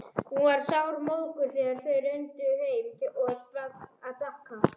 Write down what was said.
Hún var sármóðguð þegar þau renndu heim að Bakka.